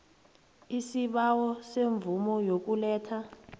isibawo semvumo yokuletha